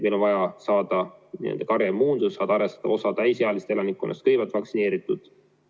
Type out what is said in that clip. Meil on vaja saavutada karjaimmuunsus, osa täisealisest elanikkonnast peab saama kõigepealt vaktsineeritud.